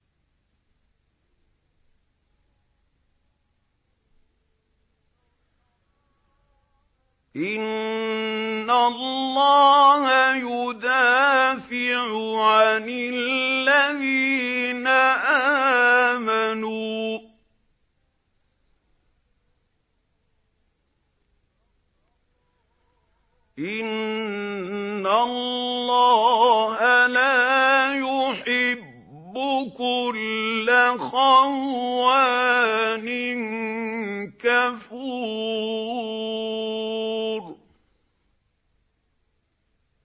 ۞ إِنَّ اللَّهَ يُدَافِعُ عَنِ الَّذِينَ آمَنُوا ۗ إِنَّ اللَّهَ لَا يُحِبُّ كُلَّ خَوَّانٍ كَفُورٍ